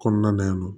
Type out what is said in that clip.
Kɔnɔna na yan nɔ